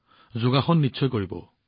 হয় যোগাসন কৰক